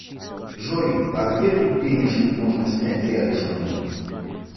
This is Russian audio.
джой а где тут денежку можно снять рядышком